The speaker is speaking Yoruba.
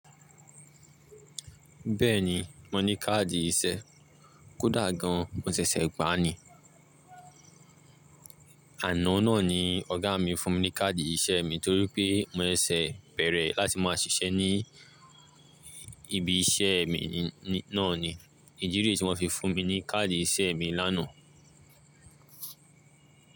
Bẹ́ẹ̀ni mo ní káàdì ìṣe. Kódà gan mo ṣẹ̀ṣẹ̀ gbà ni. Àná náà ni Ọ̀gá mi fún mi ní káàdì iṣẹ́ mi torí pé mo ṣẹ̀ bẹ̀rẹ̀ láti máa ṣiṣẹ́ ní ibi iṣẹ́ mi náà ni. Idi re ti wọ́n fi fún mi ní káàdì iṣẹ́ mi lánàá.